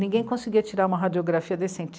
Ninguém conseguia tirar uma radiografia decente.